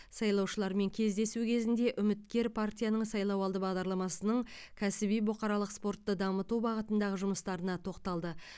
сайлаушылармен кездесу кезінде үміткер партияның сайлауалды бағдарламасының кәсіби бұқаралық спортты дамыту бағытындағы жұмыстарына тоқталды